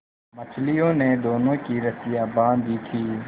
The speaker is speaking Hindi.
मछलियों ने दोनों की रस्सियाँ बाँध दी थीं